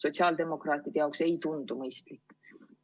Sotsiaaldemokraatidele see ei tundu mõistlik.